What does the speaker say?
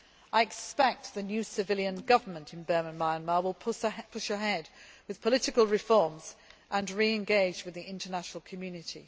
I expect the new civilian government in Burma Myanmar will push ahead with political reforms and re engage with the international community.